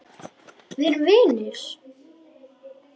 Við erum vinir.